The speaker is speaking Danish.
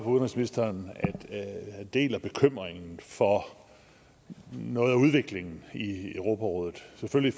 udenrigsministeren at han deler bekymringen for noget af udvikling i europarådet selvfølgelig